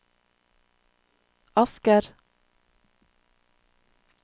Asker